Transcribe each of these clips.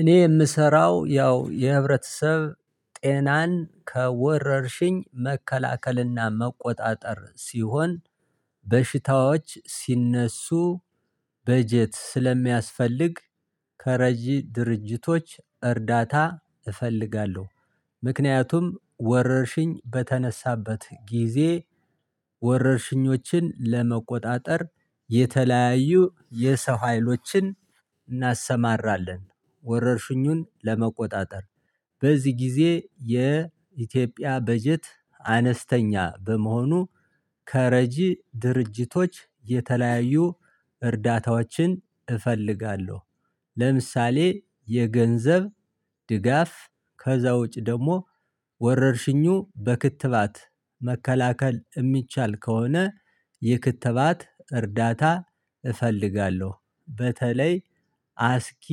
እኔ የምሰራው ያው የህብረተሰብ ጤናን ከወረርሽኝ መከላከል እና መቆጣጠር ሲሆን በሽታዎች ሲነሱ በጀት ስለሚያስፈልግ ከረጂ ድርጅቶች እርዳታ እፈልጋለሁ። ምክንያቱም ወረርሽኝ በተነሳበት ጊዜ ወረርሽኞችን ለመቆጣጠር የተለያዩ የሰው ሀይሎችን እናሰማራለን። ወረርሽኙን ለመቆጣጠር በዚህ ጊዜ የኢትዮጵያ በጀት አነስተኛ በመሆኑ ከረጂ ድርጅቶች የተለያዩ እርዳታዎችን እፈልጋለሁ። ለምሳሌ የገንዘብ ድጋፍ ከዛ ውጭ ደግሞ ወረርሽኙ በክትባት መከላከል የሚቻል ከሆነ የክትባት እርዳታ እፈልጋለሁ። በተለይ አ አስጊ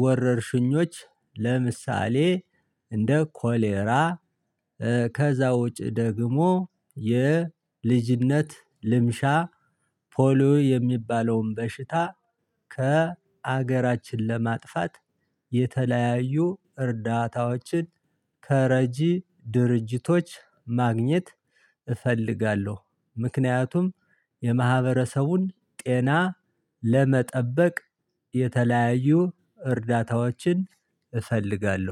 ወረርሽኞች ለምሳሌ እንደ ኮሌራ። ከዛውጭ ደግሞ የልጅነት ልምሻ ፖሊዮ የሚባለውን በሽታ ከሀገራችን ለማጥፋት የተለያዩ እርዳታዎችን ከረጂ ድርጅቶች ማግኘት እፈልጋለሁ። ምክንያቱም የማህበረሰቡን ጤና ለ ለመጠበቅ የተለያዩ እርዳታዎችን እፈልጋለሁ